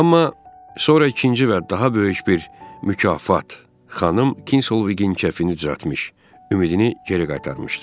Amma sonra ikinci və daha böyük bir mükafat xanım Kinsoviqin kəfini düzəltmiş, ümidini geri qaytarmışdı.